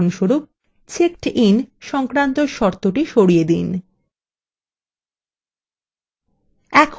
উদাহরণস্বরূপ checked in সংক্রান্ত শর্তthe সরিয়ে দিন